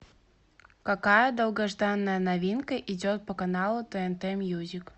какая долгожданная новинка идет по каналу тнт мьюзик